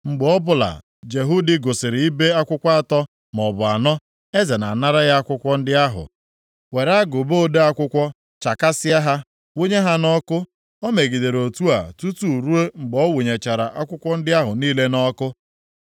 Mgbe ọbụla Jehudi gụsịrị ibe akwụkwọ atọ maọbụ anọ, eze na-anara ya akwụkwọ ndị ahụ were agụba ode akwụkwọ chakasịa ha, wụnye ha nʼọkụ. O megidere otu a tutu ruo mgbe ọ wụnyechara akwụkwọ ndị ahụ niile nʼọkụ.